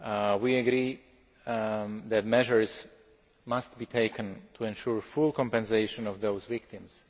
We agree that measures must be taken to ensure full compensation of those victims.